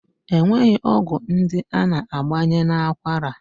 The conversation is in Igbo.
E nwere ọgwụ ndị a na-agbanye n'akwara